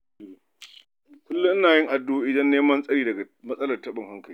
Kullum ina yin addu'a domin neman tsari daga matsalar taɓin hankali.